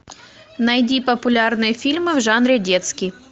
найди популярные фильмы в жанре детский